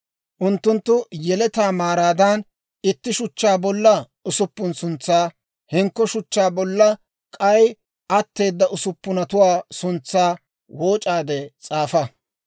Unttunttu yeletaa maaraadan itti shuchchaa bolla usuppun suntsaa, hinkko shuchchaa bolla k'ay atteeda usuppunatuwaa suntsaa wooc'aade s'aafa.